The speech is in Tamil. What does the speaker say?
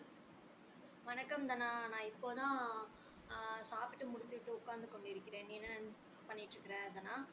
வணக்கம் தனா நா இப்போ தான் அஹ் சாப்பிட்டு முடித்துவிட்டு உக்காந்து கொண்டு இருக்கிறேன் நீ என்ன பண்ணிட்டு இருக்கற தனா